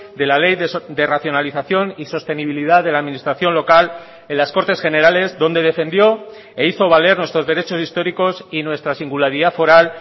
de la ley de racionalización y sostenibilidad de la administración local en las cortes generales donde defendió e hizo valer nuestros derechos históricos y nuestra singularidad foral